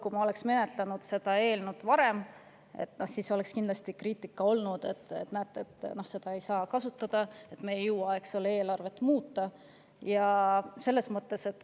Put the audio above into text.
Kui me oleksime seda eelnõu menetlenud varem, siis oleks kindlasti olnud kriitikat, et näete, seda ei saa kasutada, sest me ei jõua eelarvet muuta.